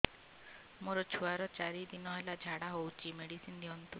ମୋର ଛୁଆର ଚାରି ଦିନ ହେଲା ଝାଡା ହଉଚି ମେଡିସିନ ଦିଅନ୍ତୁ